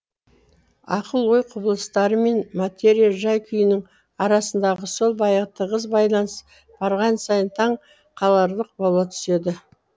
ақыл ой құбылыстары мен материя жай күйінің арасындағы сол баяғы тығыз байланыс барған сайын таң қаларлық бола түседі